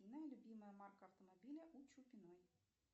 любимая марка автомобиля у чупиной